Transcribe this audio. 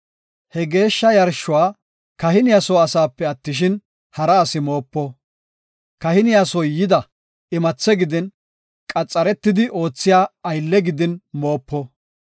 “He geeshsha yarshuwa kahiniya soo asaape attishin, hara asi moopo. Kahiniya soo yida imathe gidin, qaxaretidi oothiya ase gidin moopo.